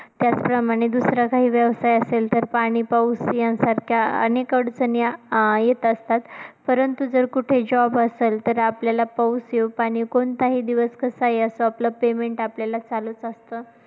त्याचप्रमाणे दुसरा काही व्यवसाय असेल, तर पाणी पाऊस यांसारख्या अनेक अडचणी आ येतं असतात परंतु जर कुठे job असेल तर आपल्याला पाऊस येऊ, पाणी कोणताही दिवस कसाही असो, आपलं Payment आपल्याला चालूचं असतं.